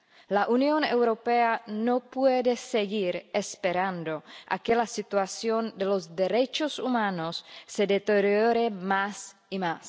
La Unión Europea no puede seguir esperando a que la situación de los derechos humanos se deteriore más y más.